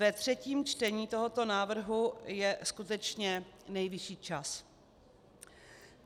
Ve třetím čtení tohoto návrhu je skutečně nejvyšší čas.